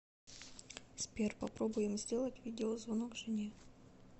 сбер попробуем сделать видеозвонок жене